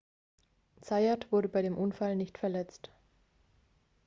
zayat wurde bei dem unfall nicht verletzt